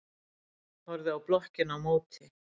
Horfði á blokkina á móti.